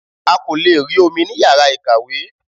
A kò lè rí omi ní yàrá ìkàwé